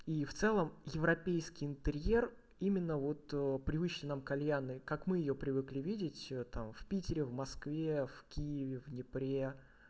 и в целом европейский интерьер именно от привычной нам кальянной как мы её привыкли видеть там в питере в москве в киеве в днепре